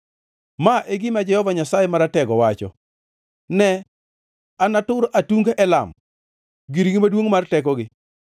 Ma e gima Jehova Nyasaye Maratego, wacho: “Ne, anatur atung Elam, girgi maduongʼ mar tekogi.